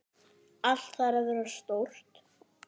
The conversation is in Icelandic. Allt þarf að vera stórt.